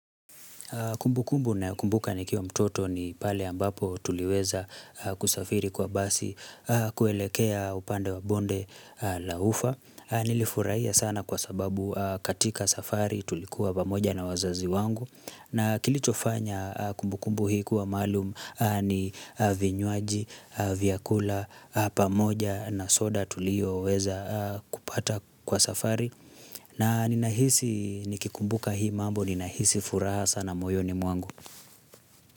Kumbukumbu ninayokumbuka nikiwa mtoto ni pale ambapo tuliweza kusafiri kwa basi kuelekea upande wa bonde la ufa. Nilifurahia sana kwa sababu katika safari tulikuwa pamoja na wazazi wangu. Na kilichofanya kumbukumbu hii kuwa maalum ni vinywaji, vyakula, pamoja na soda tulio weza kupata kwa safari. Na ninahisi nikikumbuka hii mambo, ninahisi furaha sana moyo ni mwangu.